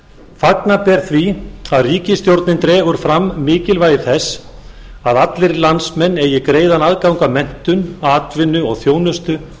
fagna ber því að ríkisstjórnin dregur fram mikilvægi þess að allir landsmenn eigi greiðan aðgang að menntun atvinnu og þjónustu